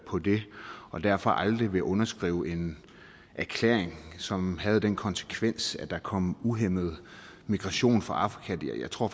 på det og derfor aldrig ville underskrive en erklæring som havde den konsekvens at der kom uhæmmet migration fra afrika jeg tror